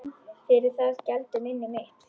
Fyrir það geldur minni mitt.